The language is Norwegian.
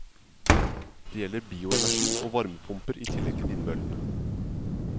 Det gjelder bioenergi og varmepumper i tillegg til vindmøllene.